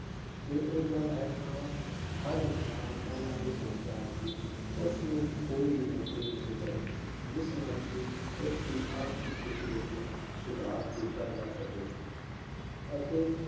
ਜੇ ਇਹ ਗੱਲ ਹੈ ਤਾਂ ਹਰ ਇਨਸਾਨ ਪਹਿਲਾਂ ਇਹ ਸੋਚਦਾ ਹੈ ਕਿ ਉਸਨੂੰ ਕੋਈ ਵੀ ਨੌਕਰੀ ਮਿਲ ਜਾਏ, ਜਿਸ ਨਾਲ ਕਿ ਉਸਦੀ ਆਰਥਿਕ ਸਥਿਤੀ ਵਿੱਚ ਸੁਧਾਰ ਕੀਤਾ ਜਾ ਸਕੇ ਅਤੇ